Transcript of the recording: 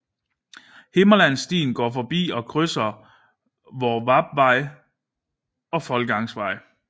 Himmerlandsstien går forbi og krydser Hvorvarpvej og Foldgangsvej